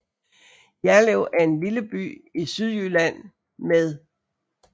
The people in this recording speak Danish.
Jerlev er en lille by i Sydjylland med